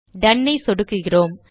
tone ஐ சொடுக்குகிறோம்